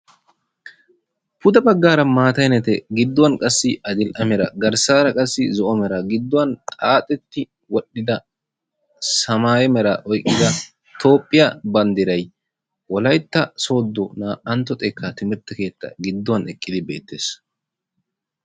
pude baggaara mata meray gidduwaan adil"e mera garssaara qassi zoo"o meraa giduwaan xaaxxetti wol"ida saamaye meeraa oyqqida toophphiyaa banddiray wollaytta soddo na"aantto xeekkaa timirtte keettaan giduwaan eqqidi beettees.